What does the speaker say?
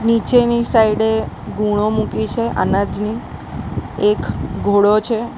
નીચેની સાઈડે ગુણો મૂકી છે અનાજની એક ઘોડો છે.